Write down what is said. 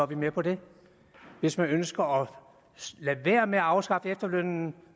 vi med på det at hvis man ønsker at lade være med at afskaffe efterlønnen